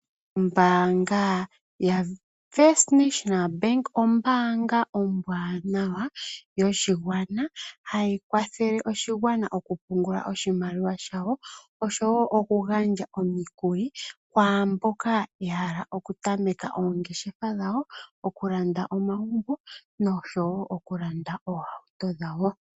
Oombanga yatango yopashigwana ombaanga ombwanawa yoshigwana hayi kwathele oshigwana oku pungula oshimaliwa shawo oshowo oku gandja omikuli kwaamboka yahala oku tameke oongeshefa dhawo, oku landa omagumbo noshowo okulanda ohauto dhawo.